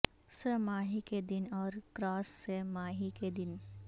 سہ ماہی کے دن اور کراس سہ ماہی کے دن